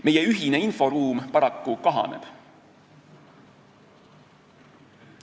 Meie ühine inforuum paraku kahaneb.